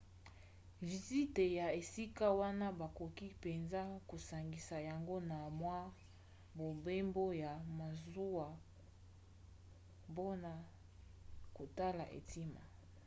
vizite ya esika wana bakoki mpenza kosangisa yango na mwa mobembo ya masuwa mpona kotala etima